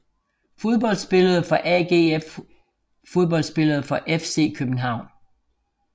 Fodboldspillere fra AGF Fodboldspillere fra FC København